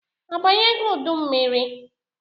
A banyego udu mmiri?